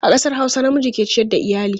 A ƙasar Hausa, namiji ke ciyar da iyali.